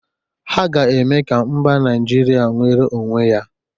Ha ga-eme ka mba Naịjiria nwere onwe ya